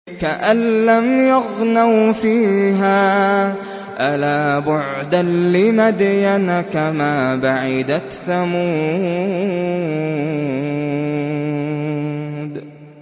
كَأَن لَّمْ يَغْنَوْا فِيهَا ۗ أَلَا بُعْدًا لِّمَدْيَنَ كَمَا بَعِدَتْ ثَمُودُ